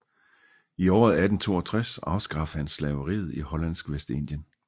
I året 1862 afskaffede han slaveriet i hollandsk Vestindien